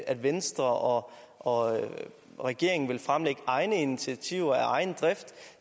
at venstre og og regeringen vil fremlægge egne initiativer af egen drift